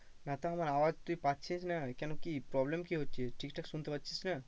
না তো আমার আওয়াজ তুই পাচ্ছিস না কেন কি problem কি হচ্ছে ঠিকঠাক শুনতে পাচ্ছিস না?